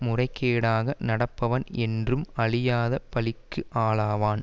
முறைகேடாக நடப்பவன் என்றும் அழியாத பழிக்கு ஆளாவான்